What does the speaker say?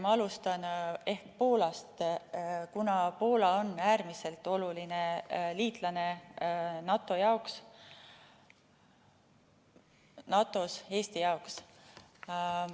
Ma alustan ehk Poolast, kuna Poola on Eestile äärmiselt oluline liitlane NATO‑s.